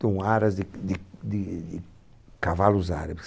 um haras de de de de cavalos árabes.